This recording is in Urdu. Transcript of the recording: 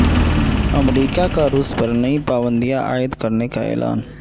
امریکہ کا روس پر نئی پابندیاں عائد کرنیکا اعلان